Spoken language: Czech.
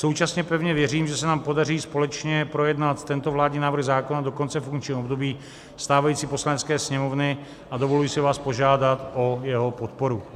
Současně pevně věřím, že se nám podaří společně projednat tento vládní návrh zákona do konce funkčního období stávající Poslanecké sněmovny, a dovoluji si vás požádat o jeho podporu.